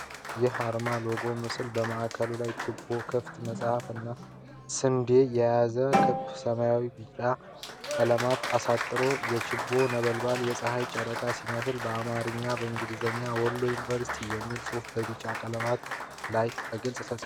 ይህ የአርማ (ሎጎ) ምስል በማዕከሉ ላይ ችቦ፣ ክፍት መጽሐፍ እና ስንዴ የያዘውን ክብ ሰማያዊ ምልክት በቢጫ ቀለበት አሳጥሮታል። የችቦው ነበልባል የፀሐይ ጨረር ሲመስል፣ በአማርኛ እና በእንግሊዝኛ «Wollo University» የሚል ጽሑፍ በቢጫው ቀለበት ላይ በግልጽ ተጽፏል።